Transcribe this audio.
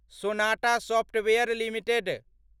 Sonata software limited